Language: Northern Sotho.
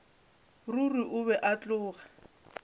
ruri o be a tloga